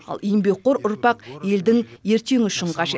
ал еңбекқор ұрпақ елдің ертеңі үшін қажет